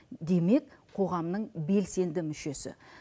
демек қоғамның белсенді мүшесі